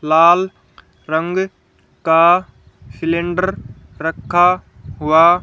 लाल रंग का सिलेंडर रखा हुआ--